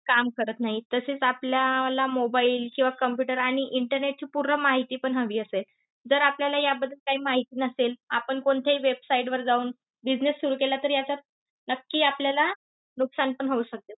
काम करत नाही. तसेच आपल्याला mobile किंवा computer आणि internet ची पूर्ण माहिती पण हवी असेल. जर आपल्याला याबद्दल काही माहिती नसेल, आपण कोणत्याही website वर जाऊन business सुरु केला, तरी याच्यात नक्की आपल्याला नुकसान पण होऊ शकते.